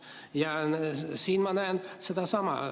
Ja siin ma näen sedasama.